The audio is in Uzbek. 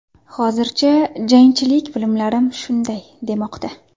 Hozircha, jangchilik bilimlarim shunday demoqda”.